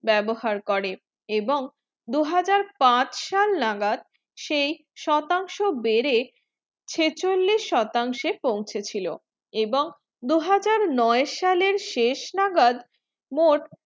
বেবহার করে এবং দুই হাজার পাঁচ সাল নাগার সেই শতাংশ বেড়ে ছেচলিশ শতাংশ এ পাউচে ছিল এবং দুই হাজার নয় সালে শেষ নাগাদ মোট